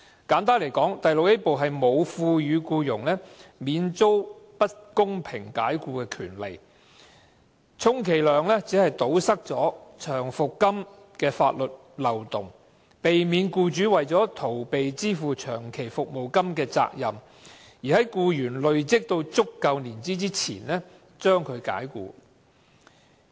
簡單來說，第 VIA 部沒有賦予僱員免遭不公平解僱的權利，充其量只是堵塞長期服務金的法律漏洞，避免僱主為了逃避支付長期服務金而在僱員累積足夠年資前將其解僱。